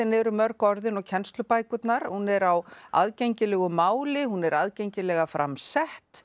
fræðiritin eru mörg orðin og kennslubækurnar hún er á aðgengilegu máli hún er aðgengilega fram sett